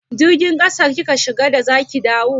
Jirgin ƙasa kika shiga da za ki dawo?